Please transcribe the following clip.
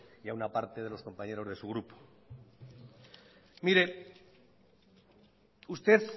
y a una parte de los compañeros de su grupo mire usted